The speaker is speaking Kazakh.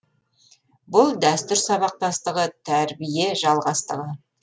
бұл дәстүр сабақтастығы тәрбие жалғастығы